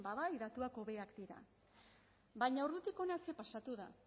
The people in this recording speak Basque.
ba bai datuak hobeak dira baina ordutik hona zer pasatu da